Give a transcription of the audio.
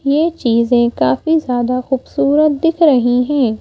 ये चीज़ें काफी ज़्यादा खूबसूरत दिख रही हैं।